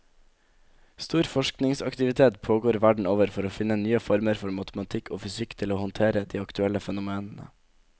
Stor forskningsaktivitet pågår verden over for å finne nye former for matematikk og fysikk til å håndtere de aktuelle fenomenene.